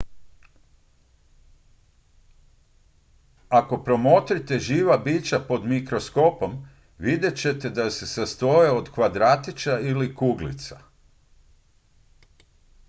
ako promotrite živa bića pod mikroskopom vidjet ćete da se sastoje od kvadratića ili kuglica